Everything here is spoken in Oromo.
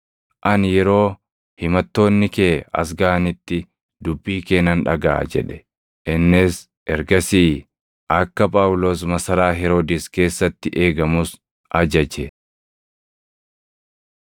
“Ani yeroo himattoonni kee as gaʼanitti dubbii kee nan dhagaʼa” jedhe. Innis ergasii akka Phaawulos masaraa Heroodis keessatti eegamus ajaje.